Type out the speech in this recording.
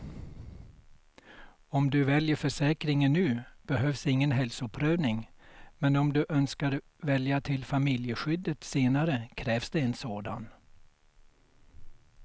Om du väljer försäkringen nu behövs ingen hälsoprövning, men om du önskar välja till familjeskyddet senare krävs det en sådan.